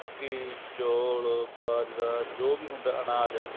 ਘੀ ਚੋਲ ਬਾਜਰਾ ਜੋ ਵੀ ਹੁੰਦਾ ਅਨਾਜ ਹੈ